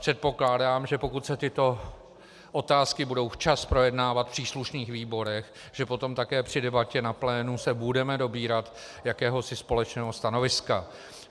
Předpokládám, že pokud se tyto otázky budou včas projednávat v příslušných výborech, že potom také při debatě na plénu se budeme dobírat jakéhosi společného stanoviska.